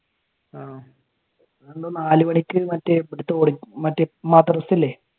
ആഹ് നാല് മണിക്ക് മറ്റേ ഇവിടത്തെ മറ്റേ മദ്രസ ഇല്ലേ